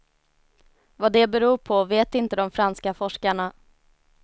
Vad det beror på vet inte de franska forskarna.